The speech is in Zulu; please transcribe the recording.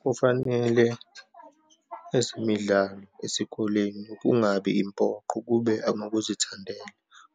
Kufanele ezemidlalo esikoleni kungabi impoqo, kube angokuzithandela